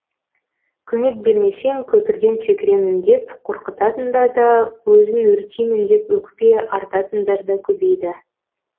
көмек бермесең көпірден секіремін деп қорқытатында да өзін өртеймін деп өкпе артатындар да көбейді